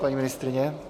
Paní ministryně?